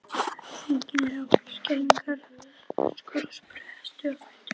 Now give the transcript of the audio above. Drengirnir ráku upp skelfingaröskur og spruttu á fætur.